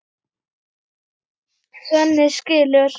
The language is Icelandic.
Svenni skilur.